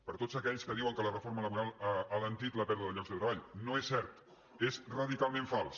per a tots aquells que diuen que la reforma laboral ha alentit la pèrdua de llocs de treball no és cert és radicalment fals